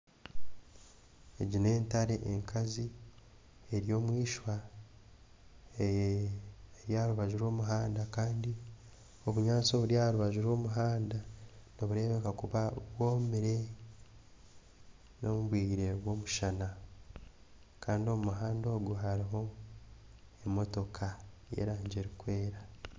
Egi n'entare enkazi eri omwishwa eri aharubaju ry'omuhanda Kandi obunyantsi oburi aharubaju rw'omuhanda niburebeka kuba bwomire nomubwire bw'omushana Kandi omumuhanda ogu haruho emotoka y'erangi erukwera.